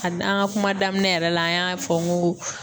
A an ka kuma daminɛ yɛrɛ la an y'a fɔ n ko